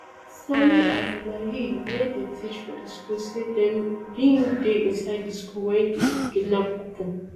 sani abdullahi wey dey teach for di school say dem bin dey inside di school wen di kidnap happun